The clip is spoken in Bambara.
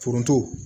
Foronto